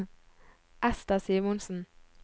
Ester Simonsen